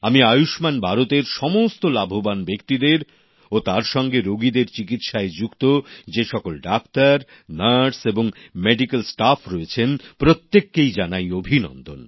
আমি আয়ুষ্মান ভারত এর সমস্ত লাভবান ব্যক্তিদের ও তার সঙ্গে রোগীদের চিকিৎসায় যুক্ত যে সকল ডাক্তার নার্স এবং স্বাস্থ্যকর্মী রয়েছেন প্রত্যেককেই জানাই অভিনন্দন